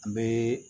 N bɛ